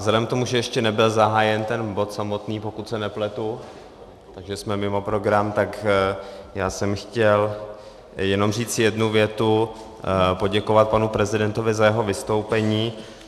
Vzhledem k tomu, že ještě nebyl zahájen ten bod samotný, pokud se nepletu, takže jsme mimo program, tak já jsem chtěl jenom říct jednu větu: poděkovat panu prezidentovi za jeho vystoupení.